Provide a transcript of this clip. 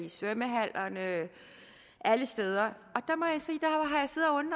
svømmehallerne og alle steder